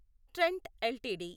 Trent LTD